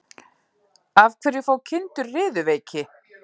Af hverju fá kindur riðuveiki?